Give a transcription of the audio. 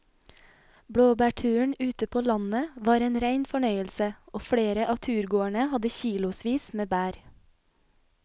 Blåbærturen ute på landet var en rein fornøyelse og flere av turgåerene hadde kilosvis med bær.